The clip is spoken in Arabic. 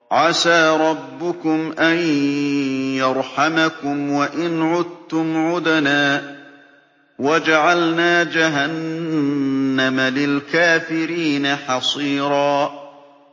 عَسَىٰ رَبُّكُمْ أَن يَرْحَمَكُمْ ۚ وَإِنْ عُدتُّمْ عُدْنَا ۘ وَجَعَلْنَا جَهَنَّمَ لِلْكَافِرِينَ حَصِيرًا